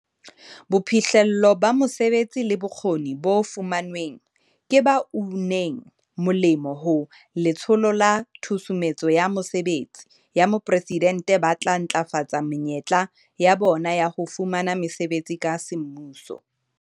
Boiphihlello ba mesebetsi le bokgoni bo fumanweng ke ba uneng molemo ho Letsholo la Tshusumetso ya Mesebetsi ya Mopresidente ba tla ntlafatsa menyetla ya bona ya ho fumana mesebetsi ka semmuso.